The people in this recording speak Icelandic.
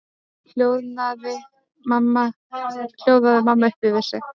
hljóðaði mamma upp yfir sig.